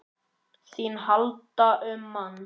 ÞÍN HALDI UM MANN!